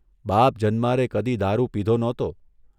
બાપ જન્મારે કદી દારૂ પીધો નહોતો.